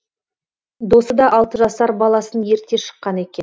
досы да алты жасар баласын ерте шыққан екен